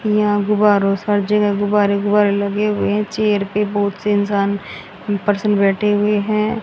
यहां गुब्बारों सब जगह गुब्बारे गुब्बारे लगे हुए हैं चेयर पे बहुत से इंसान पर्सन बैठे हुए हैं।